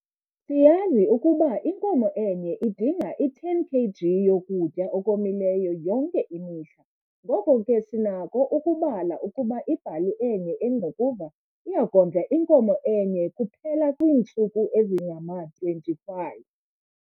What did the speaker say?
Siyazi ukuba inkomo enye idinga i-10 kg yokutya okomileyo yonke imihla ngoko ke sinako ukubala ukuba ibhali enye engqukuva iya kondla inkomo enye kuphela kwiintsuku ezingama-25.